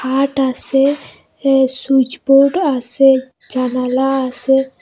খাট আসে এ সুইচবোর্ড আসে জানালা আসে--